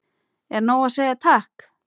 Er nóg að segja takk?